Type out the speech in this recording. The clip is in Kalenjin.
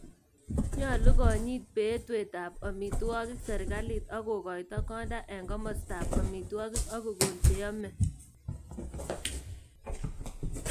Nyalu konyit beetweetab amiitwogik serikalit ak kogoito kondaa eng komostaab amitwokik ako kokon cheyome